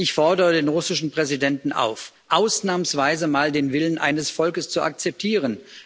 Ich fordere den russischen Präsidenten auf, ausnahmsweise mal den Willen eines Volkes zu akzeptieren.